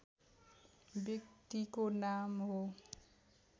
व्यक्तिको नाम हो